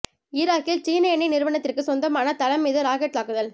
ஈராக்கில் சீன எண்ணெய் நிறுவனத்திற்கு சொந்தமான தளம் மீது ராக்கெட் தாக்குதல்